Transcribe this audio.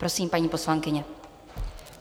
Prosím, paní poslankyně.